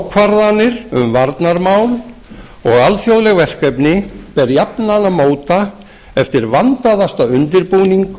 ákvarðanir um varnarmál og alþjóðleg verkefni ber jafnan að móta eftir vandaðasta undirbúning